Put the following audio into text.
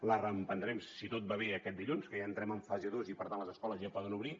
la reprendrem si tot va bé aquest dilluns que ja entrem en fase dos i per tant les escoles ja poden obrir